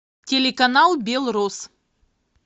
телеканал белрос